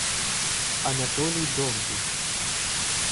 анатолий довгий